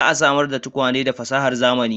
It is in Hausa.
Za a samar da tukwane da fasahar zamani